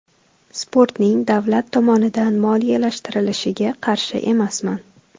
Sportning davlat tomonidan moliyalashtirilishiga qarshi emasman.